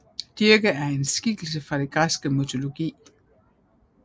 Dirke er en skikkelse fra den græske mytologi